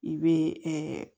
I bɛ